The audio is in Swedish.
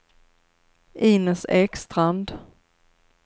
Inez Ekstrand